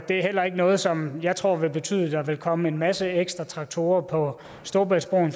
er ikke noget som jeg tror vil betyde der vil komme en masse traktorer på